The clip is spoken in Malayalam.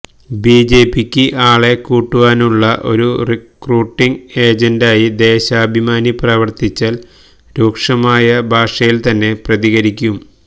ബി ജെ പിയ്ക്ക് ആളെ കൂട്ടുവാനുള്ള ഒരു റിക്രൂട്ടിങ്ങ് ഏജന്റായി ദേശാഭിമാനി പ്രവര്ത്തിച്ചാല് രൂക്ഷമായ ഭാഷയില് തന്നെ പ്രതികരിക്കും